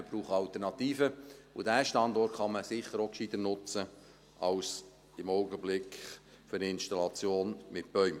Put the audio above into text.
Wir brauchen Alternativen, und diesen Standort kann man sicher auch gescheiter nutzen als – so, wie im Augenblick – für eine Installation mit Bäumen.